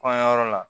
Kɔɲɔyɔrɔ la